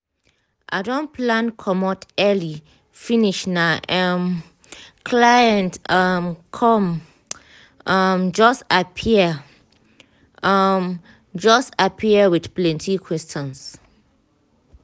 i don plan comot early finish na em um client um come um just appear um just appear with plenty questions